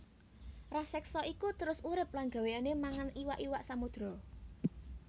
Raseksa iku terus urip lan gawéyané mangan iwak iwak samodra